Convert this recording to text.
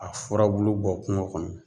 A furabulu bɔ kungo kɔnɔ.